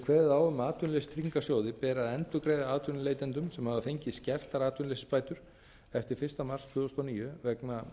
kveðið á um að atvinnuleysistryggingasjóði beri að endurgreiða atvinnuleitendum sem hafa fengið skertar atvinnuleysisbætur eftir fyrsta mars tvö þúsund og níu vegna